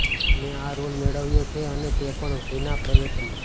મેં આ રોલ મેળવ્યો છે અને તે પણ વિના પ્રયત્ને